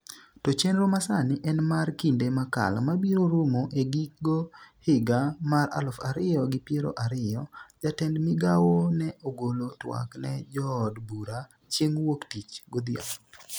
to chenro masani en mar kinde makalo mabiro rumo e gigo higa mar aluf ariyo gi piero ariyo. jatend migawo ne ogolo twak ne jood bura chieng' wuok tich godhiambo